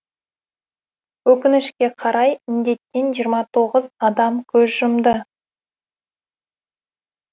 өкінішке қарай інденттен жиырма тоғыз адам көз жұмды